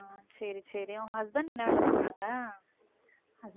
சரி சரி உன் husband என்ன வேலை பண்றாங்க